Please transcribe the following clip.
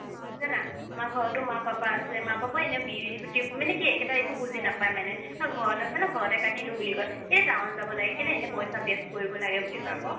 জানা আমাৰ ঘৰতো মা papa আছে মা papa এনেও মানে কি একেতাই একো বুজি নাপাই মানে ঘৰত আছে ন ঘৰতে কাটি দিও বুলি কই কেলেই town যাব কেলেই এনেই পইচা কৰিব লাগে বুলি কই আকৌ